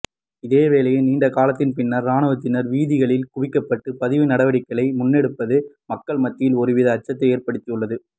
இதேவேளை நீண்ட காலத்தின் பின்னர் இராணுவத்தினர் வீதிகளில் குவிக்கப்பட்டு பதிவு நடவடிக்கைகளை முன்னெடுப்பது மக்கள் மத்தியில் ஒருவித அச்சத்தை ஏற்படுத்தியுள்ளது